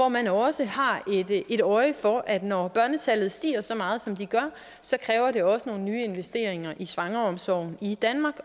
man også har et øje for at når børnetallet stiger så meget som det gør så kræver det også nogle nye investeringer i svangreomsorgen i danmark